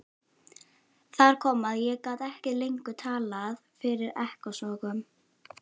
Þar kom að ég gat ekki lengur talað fyrir ekkasogum.